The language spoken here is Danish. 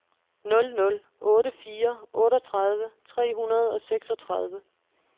nul nul otte fire otteogtredive tre hundrede og seksogtredive